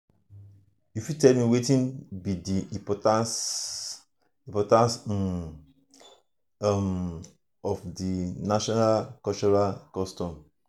you fit tell me wetin be di importance importance um of um cultural naming customs?